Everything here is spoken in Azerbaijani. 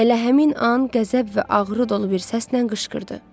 Elə həmin an qəzəb və ağrı dolu bir səslə qışqırdı.